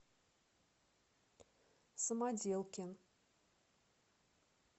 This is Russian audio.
самоделкин